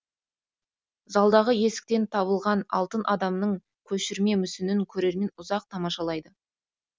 залдағы есіктен табылған алтын адамның көшірме мүсінін көрермен ұзақ тамашалайды